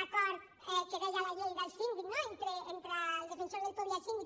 l’acord que deia la llei del síndic no entre el defensor del pueblo i el síndic